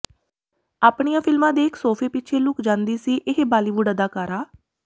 ਆਪਣੀਆਂ ਫਿਲਮਾਂ ਦੇਖ ਸੋਫੇ ਪਿੱਛੇ ਲੁੱਕ ਜਾਂਦੀ ਸੀ ਇਹ ਬਾਲੀਵੁਡ ਅਦਾਕਾਰਾ